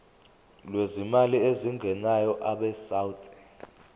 lwezimali ezingenayo abesouth